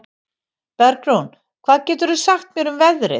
Bergrún, hvað geturðu sagt mér um veðrið?